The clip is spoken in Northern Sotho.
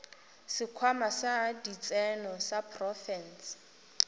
sekhwama sa ditseno sa profense